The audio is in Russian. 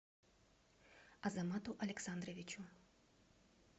азамату александровичу